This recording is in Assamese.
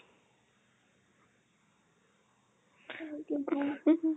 আৰু কি কম